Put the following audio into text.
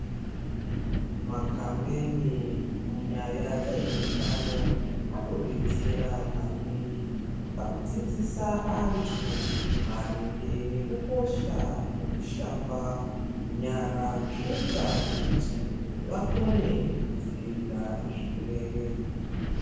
Makhampeni munyaya dzezvehutano, anodetsera maningi pakudzidzisa antu maringe nekukosha kwekushamba nyara. Zvinoita kuti vakone kudziyirira zvirwere.